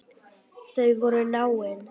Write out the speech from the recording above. Þau voru náin.